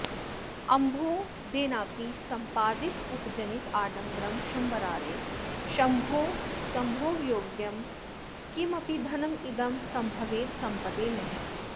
अम्भोदेनापि सम्पादितमुपजनिताडम्बरं शम्बरारेः शम्भोस्सम्भोगयोग्यं किमपि धनमिदं सम्भवेत्सम्पदे नः